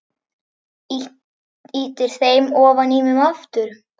Ýtir þeim ofan í mig aftur.